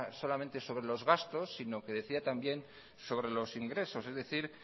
solamente sobre los gastos sino que decida también sobre los ingresos es decir